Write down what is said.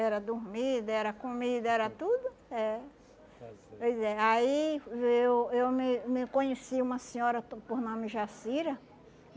Era dormida, era comida, era tudo, é. Pois é, aí eu eu me me conheci uma senhora por por nome Jacira.